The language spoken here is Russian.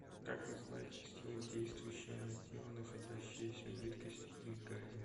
как называется сила действующая на тело находящееся в жидкости или газе